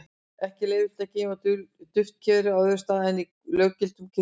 ekki er leyfilegt að geyma duftkerið á öðrum stað en í löggiltum kirkjugarði